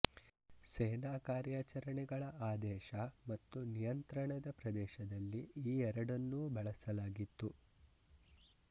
ಸೇನಾ ಕಾರ್ಯಾಚರಣೆಗಳ ಆದೇಶ ಮತ್ತು ನಿಯಂತ್ರಣದ ಪ್ರದೇಶದಲ್ಲಿ ಈ ಎರಡನ್ನೂ ಬಳಸಲಾಗಿತ್ತು